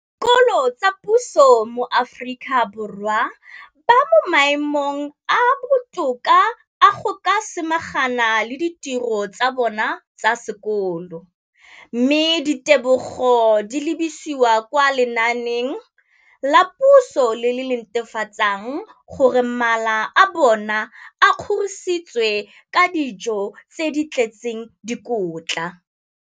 Dikolo tsa puso mo Aforika Borwa ba mo maemong a a botoka a go ka samagana le ditiro tsa bona tsa sekolo, mme ditebogo di lebisiwa kwa lenaaneng la puso le le netefatsang gore mala a bona a kgorisitswe ka dijo tse di tletseng dikotla.